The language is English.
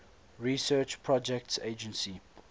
research projects agency